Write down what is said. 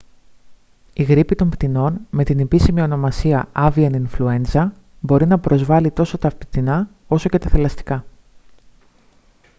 η γρίπη των πτηνών με την επίσημη ονομασία avian influenza μπορεί να πεοσβάλει τόσο τα πτηνά όσο και τα θηλαστικά